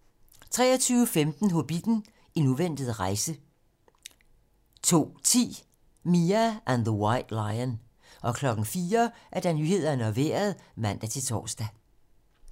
23:15: Hobbitten: En uventet rejse 02:10: Mia and the White Lion 04:00: Nyhederne og Vejret (man-tor)